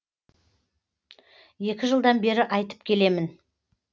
екі жылдан бері айтып келемін